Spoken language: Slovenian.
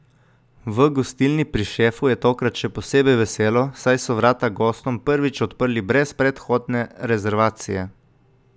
V Gostilni pri šefu je tokrat še posebej veselo, saj so vrata gostom prvič odprli brez predhodne rezervacije.